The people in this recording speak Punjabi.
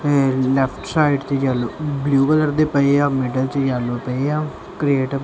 ਲੈਫ਼੍ਟ ਸਾਈਡ ਤੇ ਯੈਲੌ ਬਲੂ ਕਲਰ ਦੇ ਪਏਆ ਮਿੱਡਲ ਚ ਯੈਲੌ ਪਏ ਆ ਕ੍ਰੇਟ